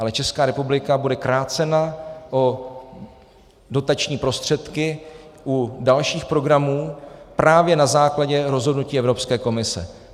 Ale Česká republika bude krácena o dotační prostředky u dalších programů právě na základě rozhodnutí Evropské komise.